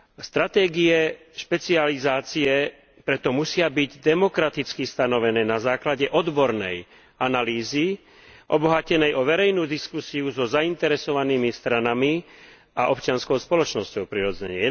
Stratégie špecializácie preto musia byť demokraticky stanovené na základe odbornej analýzy obohatenej o verejnú diskusiu so zainteresovanými stranami a občianskou spoločnosťou, prirodzene.